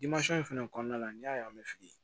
in fɛnɛ kɔnɔna la n'i y'a ye an bɛ fili